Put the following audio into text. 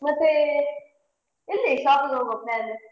ಮತ್ತೆ ಎಲ್ಲಿ shopping ಹೋಗುವ plan ?